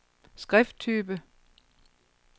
skrifttype